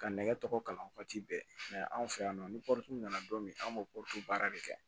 Ka nɛgɛ tɔgɔ kalan waati bɛɛ mɛ anw fɛ yan nɔ ni pɔru nana don min an bɛ baara de kɛ